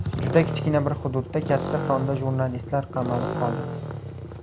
Juda kichkina bir hududda katta sonda jurnalistlar qamalib qoldi.